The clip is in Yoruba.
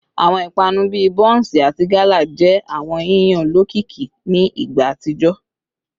Awọn ipanu bii bonsi ati gala jẹ awọn yiyan olokiki ni igba atijọ